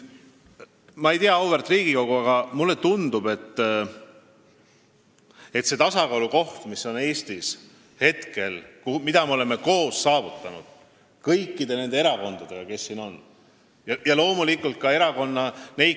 Auväärt Riigikogu, mulle tundub, et kui me räägime venekeelse ja eestikeelse elanikkonna ühisest koostoimimisest siin Eestimaal, siis on meil praegu päris hea seis.